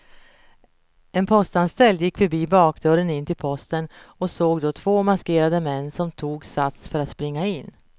En postanställd gick förbi bakdörren in till posten och såg då två maskerade män som tog sats för att springa in.